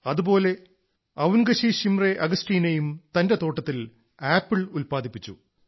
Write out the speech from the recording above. അതുപോലെ അവുൻഗശീ ശിംറേ അഗസ്റ്റീനയും തന്റെ തോട്ടത്തിൽ ആപ്പിൾ ഉല്പാദിപ്പിച്ചു